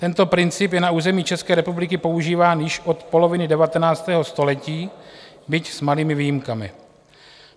Tento princip je na území České republiky používán již od poloviny 19. století, byť s malými výjimkami.